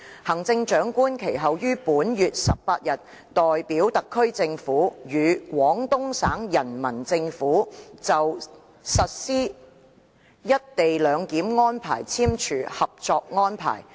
行政長官其後於本月18日代表特區政府，與廣東省人民政府就實施一地兩檢安排簽署《合作安排》。